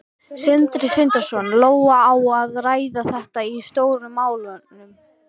Sindri Sindrason: Lóa, á að ræða þetta í Stóru málunum?